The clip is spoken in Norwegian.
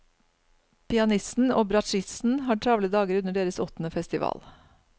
Pianisten og bratsjisten har travle dager under deres åttende festival.